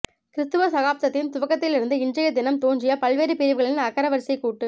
கிறிஸ்தவ சகாப்தத்தின் துவக்கத்திலிருந்து இன்றைய தினம் தோன்றிய பல்வேறு பிரிவுகளின் அகரவரிசைக் கூட்டு